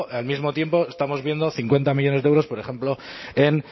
al mismo tiempo estamos viendo cincuenta millónes de euros por ejemplo